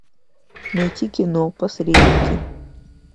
найти кино посредники